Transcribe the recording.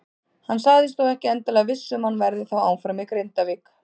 Hann sagðist þó ekki endilega viss um að hann verði þá áfram í Grindavík.